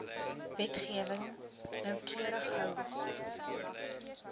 wetgewing noukeurig hou